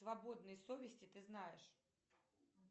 свободной совести ты знаешь